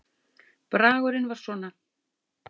Bragurinn var svona